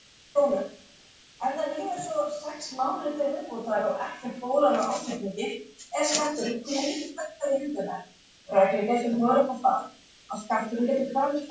Kristján Már: En tók því að standa í þessu þá?